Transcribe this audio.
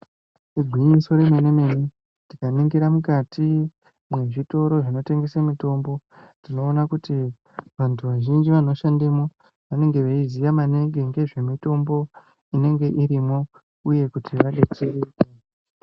Igwinyiso remen-mene, tikaningira mukati mwezvitoro zvinotengese mitombo, tinoona kuti vantu vazhinji vanoshandemo, vanenge veiziya maningi ngezvemitombo inenge irimwo uye kuti vadetsereke.